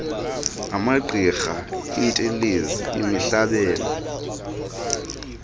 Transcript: amagqirha iintelezi imihlabelo